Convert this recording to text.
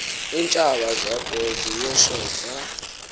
iintshaba zakho zinyoshoza